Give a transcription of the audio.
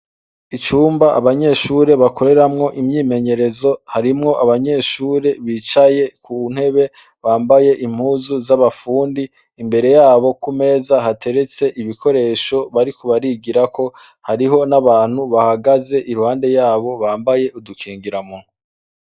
Icumba abanyeshure bakoreramwo imyimenyerezo, harimwo abanyeshure bicaye kuntebe bambaye Impuzu z'abafundi, imbere yabo kumeza hateretse ibikoresho bariko barigirako hariho n'abantu bahagaze iruhande yabo bambaye udukingiramunwa.